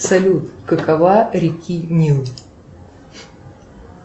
салют какова реки нил